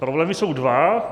Problémy jsou dva.